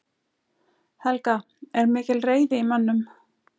Helga: Er mikil reiði í mönnum?